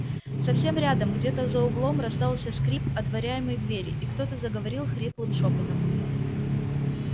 совсем рядом где-то за углом раздался скрип отворяемой двери и кто-то заговорил хриплым шёпотом